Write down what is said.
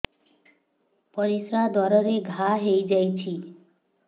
ପରିଶ୍ରା ଦ୍ୱାର ରେ ଘା ହେଇଯାଇଛି